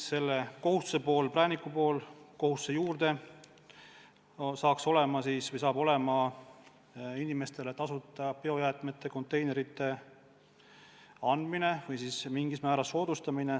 Selle kohustuse prääniku pool saab olema inimestele tasuta biojäätmete konteinerite andmine või nende hankimise mingil määral soodustamine.